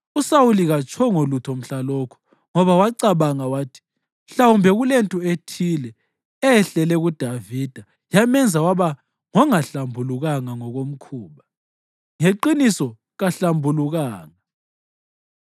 USawuli katshongo lutho mhlalokho, ngoba wacabanga wathi, “Mhlawumbe kulento ethile eyehlele kuDavida yamenza waba ngongahlambulukanga ngokomkhuba, ngeqiniso kahlambulukanga.”